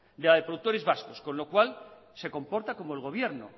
de la de productores vascos con lo cual se comporta como el gobierno